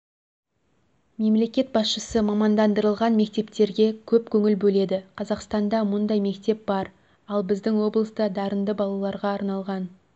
мемлекет басшысы мамандандырылған мектептерге көп көңіл бөледі қазақстанда мұндай мектеп бар ал біздің облыста дарынды балаларғааналған